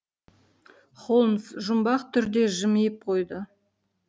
холмс жұмбақ түрде жымиып қойды